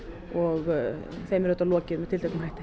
og þeim er auðvitað lokið með tilteknum hætti